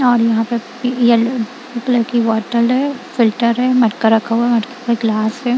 और यहां पर उपला की बॉटल है फिल्टर है मटका रखा हुआ है मटकी का ग्लास है।